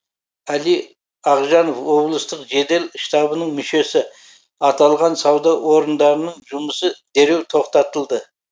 әли ағжанов облыстық жедел штабының мүшесі аталған сауда орындарының жұмысы дереу тоқтатылды